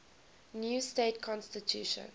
new state constitution